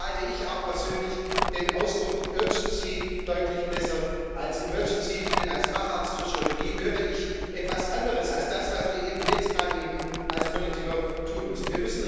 Deswegen halte ich auch persönlich den Ausdruck urgency für deutlich besser als emergency, denn als Facharzt für Chirurgie höre ich etwas anderes als das, was wir eben jetzt gerade als Politiker tun müssen.